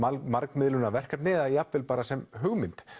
margmiðlunarverkefni eða jafnvel bara sem hugmynd